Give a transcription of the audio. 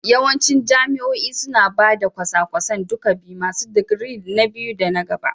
Yawancin jami'o'i suna ba da kwasa-kwasan duka biyu masu digiri na biyu da na gaba